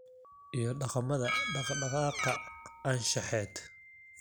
iyo dhaqamada dhaq-dhaqaaqa anshaxeed.